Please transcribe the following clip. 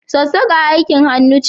Sassaka aikin hannu ce.